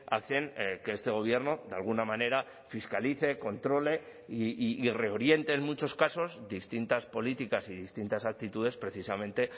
hacen que este gobierno de alguna manera fiscalice controle y reoriente en muchos casos distintas políticas y distintas actitudes precisamente